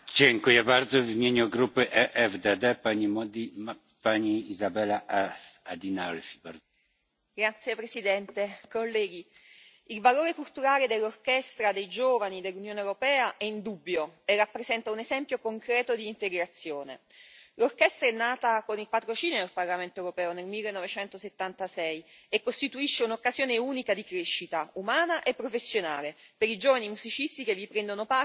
Signor Presidente, onorevoli colleghi, il valore culturale dell'Orchestra dei giovani dell'Unione europea è indubbio e rappresenta un esempio concreto di integrazione. L'orchestra è nata con il patrocinio del Parlamento europeo nel 1976, e costituisce un'occasione unica di crescita, umana e professionale, per i giovani musicisti che vi prendono parte, ed è quindi